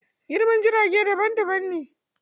Girman jirage daban daban ne.